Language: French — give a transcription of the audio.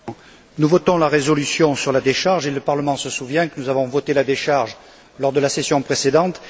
Monsieur le Président, nous votons la résolution sur la décharge et le Parlement se souvient que nous avons voté la décharge lors de la session précédente.